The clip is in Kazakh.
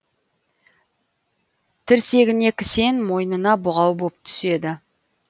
тірсегіне кісен мойнына бұғау боп түседі